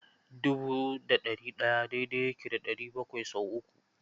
Dubu da ɗari ɗaya daidai yake da ɗari bakwai sau uku.